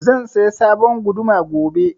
Zan saya sabon guduma gobe